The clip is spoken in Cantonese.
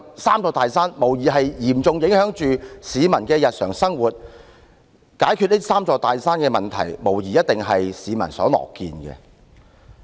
"三座大山"無疑是嚴重影響着市民的日常生活，解決這"三座大山"的問題，無疑一定是市民所樂見的。